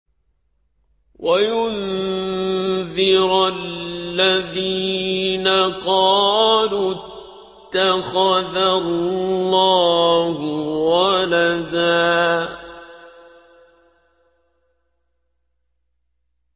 وَيُنذِرَ الَّذِينَ قَالُوا اتَّخَذَ اللَّهُ وَلَدًا